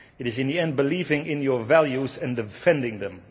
It is, in the end, believing in your values and defending them.